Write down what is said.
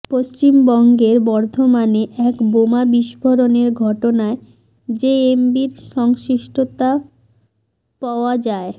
পশ্চিমবঙ্গের বর্ধমানে এক বোমা বিস্ফোরণের ঘটনায় জেএমবির সংশ্লিষ্টতা পাওয় যায়